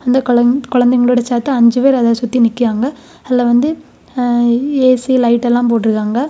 இந்த கொழங் கொழந்தைங்களோட சேத்து அஞ்சு பேர் அத சுத்தி நிக்காங்க அதுல வந்து ஏசி லைட் எல்லாம் போட்டுருக்காங்க.